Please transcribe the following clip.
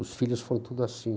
Os filhos foram tudo assim.